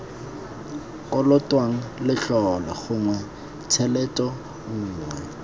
kolotwang letlole gongwe tshelete nngwe